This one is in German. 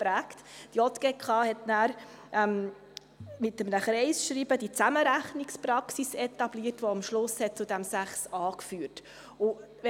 Daraufhin etablierte die JGK mit einem Kreisscheiben die Zusammenrechnungspraxis, die am Ende zu Artikel 6a geführt hat.